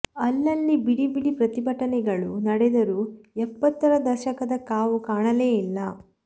ಅಲ್ಲಲ್ಲಿ ಬಿಡಿ ಬಿಡಿ ಪ್ರತಿಭಟನೆಗಳು ನಡೆದರೂ ಎಪ್ಪತ್ತರ ದಶಕದ ಕಾವು ಕಾಣಲೇ ಇಲ್ಲ